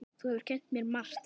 Þú hefur kennt mér margt.